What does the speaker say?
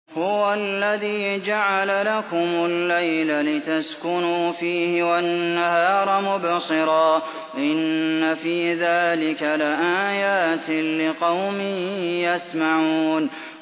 هُوَ الَّذِي جَعَلَ لَكُمُ اللَّيْلَ لِتَسْكُنُوا فِيهِ وَالنَّهَارَ مُبْصِرًا ۚ إِنَّ فِي ذَٰلِكَ لَآيَاتٍ لِّقَوْمٍ يَسْمَعُونَ